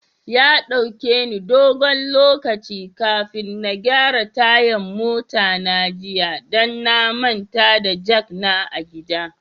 Ya dauka ni gongo lokaci kafin na gyara tayan mota na jiya, dan na manta da jak na a gida.